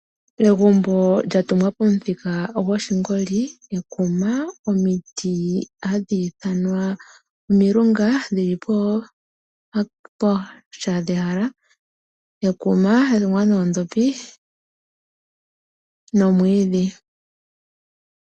Egumbu lyatungwa pamuthika goshingoli, ekuma, omiti hadhi ithanwa omilunga dhi li pooha dhehala, ekuma lya ningwa noodhopi nomwiidhi.